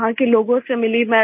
वहाँ के लोगों से मिली मैं